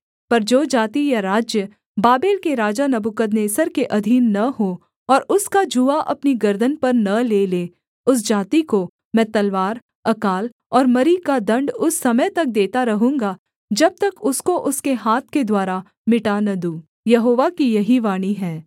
पर जो जाति या राज्य बाबेल के राजा नबूकदनेस्सर के अधीन न हो और उसका जूआ अपनी गर्दन पर न ले ले उस जाति को मैं तलवार अकाल और मरी का दण्ड उस समय तक देता रहूँगा जब तक उसको उसके हाथ के द्वारा मिटा न दूँ यहोवा की यही वाणी है